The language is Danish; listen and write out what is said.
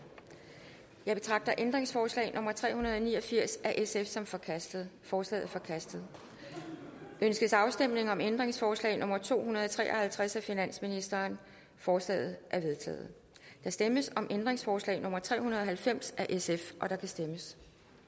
jeg betragter ændringsforslag nummer tre hundrede og ni og firs af sf som forkastet forslaget er forkastet ønskes afstemning om ændringsforslag nummer to hundrede og tre og halvtreds af finansministeren forslaget er vedtaget der stemmes om ændringsforslag nummer tre hundrede og halvfems af sf og der kan stemmes